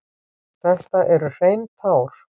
Þetta eru hrein tár.